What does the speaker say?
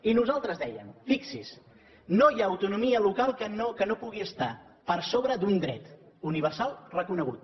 i nosaltres dèiem fixi s’hi no hi ha autonomia local que no pugui estar per sobre d’un dret universal reconegut